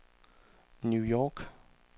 New York